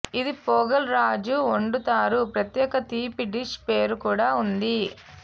ఇది పొగల్ రోజు వండుతారు ప్రత్యేక తీపి డిష్ పేరు కూడా ఉంది